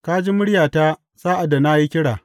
Ka ji muryata sa’ad da na yi kira.